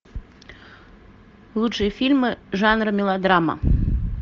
лучшие фильмы жанра мелодрама